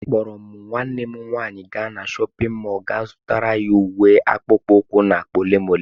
Akpọrọ m nwanne m nwanyị gaa na chọpịn mọọlụ ga zụtara ya uwe, akpụkpọ ụkwụ na akpa ole na ole.